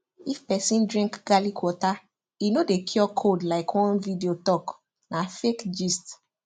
if person drink garlic water e no dey cure cold like one video talk na fake gist